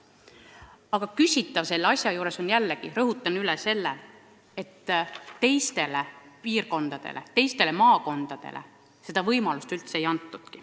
Aga küsitav selle asja juures on – jällegi, rõhutan üle –, et teistele maakondadele pole seda võimalust antud.